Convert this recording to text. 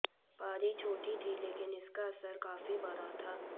पारी छोटी थी लेकिन इसका असर काफी बड़ा था